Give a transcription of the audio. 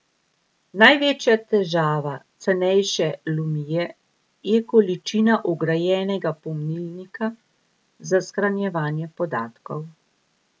Največja težava cenejše lumie je količina vgrajenega pomnilnika za shranjevanje podatkov.